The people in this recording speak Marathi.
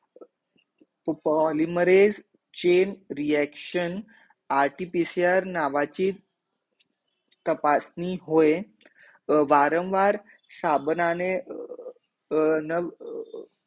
polimare chain reaction RTPCR नावाची तपासणी होय, वारंवार साबणाने अर नव